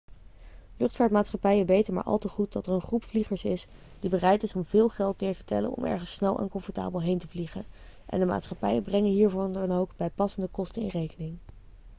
luchtvaartmaatschappijen weten maar al te goed dat er een groep vliegers is die bereid is om veel geld neer te tellen om ergens snel en comfortabel heen te vliegen en de maatschappijen brengen hiervoor dan ook bijpassende kosten in rekening